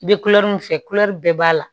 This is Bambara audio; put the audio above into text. I bɛ kulɛriw fɛ kulɛri bɛɛ b'a la